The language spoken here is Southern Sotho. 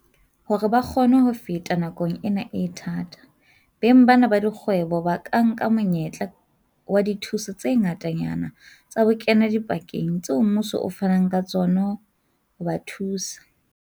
Hore ba kgone ho feta nakong ena e thata, beng bana ba dikgwebo ba ka nka monyetla wa dithuso tse ngatanyana tsa bokenadipakeng tseo mmuso o fanang ka tsona ho ba thusa.